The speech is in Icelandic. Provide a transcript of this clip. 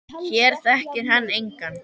Hér þekkir hann engan.